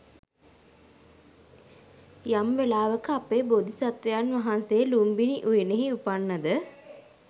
යම් වෙලාවක අපේ බෝධිසත්වයන් වහන්සේ ලුම්බිණි උයනෙහි උපන්නද?